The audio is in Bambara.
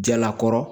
Jalakɔrɔ